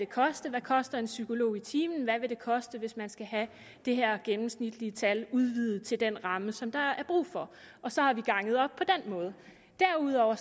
koste hvad koster en psykolog i timen og hvad vil det koste hvis man skal have det her gennemsnitlige tal udvidet til den ramme som der er brug for og så har vi ganget op på den måde derudover